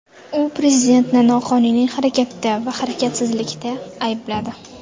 U prezidentni noqonuniy harakatda va harakatsizlikda aybladi.